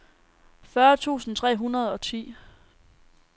fyrre tusind tre hundrede og ti